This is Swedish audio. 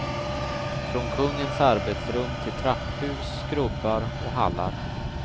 Från kungens arbetsrum till trapphus, skrubbar och hallar.